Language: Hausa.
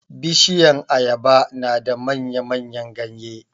Bishiyan ayaba na da manya-manyan ganye.